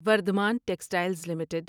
Vardhman textiles limited